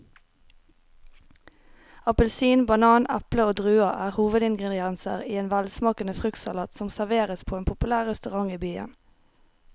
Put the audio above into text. Appelsin, banan, eple og druer er hovedingredienser i en velsmakende fruktsalat som serveres på en populær restaurant i byen.